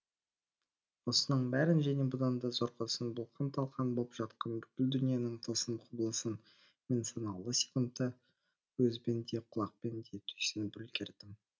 осының бәрін және бұдан да зорғысын бұлқан талқан боп жатқан бүкіл дүниенің тылсым құбылысын мен санаулы секундта көзбен де құлақпен де түйсініп үлгердім